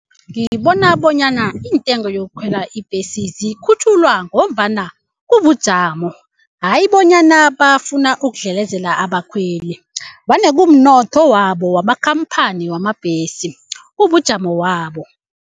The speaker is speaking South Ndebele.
Ngibona bonyana iintengo yokukhwela ibhesi zikhutjhulwa ngombana kubujamo hayi bonyana bafuna ukudlelezela abakhweli vane kumnotho wabo wamakhamphani wamabhesi kubujamo wabo.